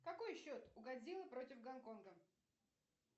какой счет у годзиллы против гонконга